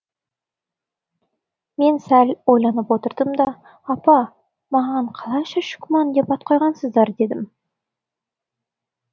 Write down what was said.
мен сәл ойланып отырдым да апа маған қалайша шүкмән деп ат қойғансыздар дедім